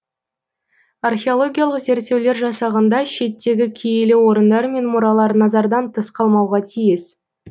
археологиялық зерттеулер жасағанда шеттегі киелі орындар мен мұралар назардан тыс қалмауға тиіс